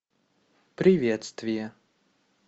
приветствие